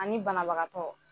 Ani banabagatɔ.